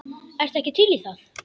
Ertu ekki til í það?